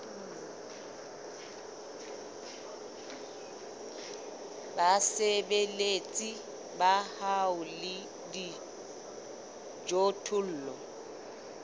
basebeletsi ba hao le dijothollo